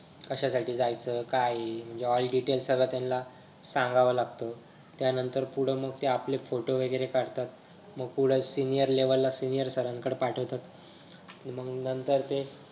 कश्यासाठी जायचं काय हे म्हणजे all detail सर्व त्यांना सांगावं लागत. त्यानांतर पुढं मंग ते आपलं photo वगैरे काढतात मग पुढं senior level ला senior सरांकडे पाठवतात मंग नंतर ते